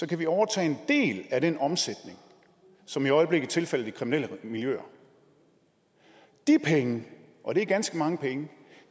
det overtage en del af den omsætning som i øjeblikket tilfalder de kriminelle miljøer de penge og det er ganske mange penge